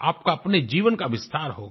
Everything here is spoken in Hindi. आपका अपने जीवन का विस्तार होगा